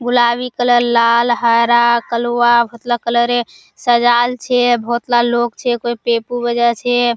गुलाबी कलर लाल हरा कलुवा कलर सजाल छै बहुत ला लोग छै कोई पेपु बजाय छै।